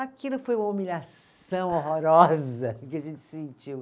Aquilo foi uma humilhação horrorosa que a gente sentiu.